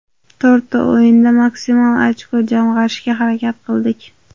To‘rtta o‘yinda maksimal ochko jamg‘arishga harakat qildik.